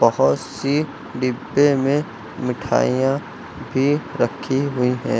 बहोत सी डिब्बे में मिठाइयां भी रखी हुई है।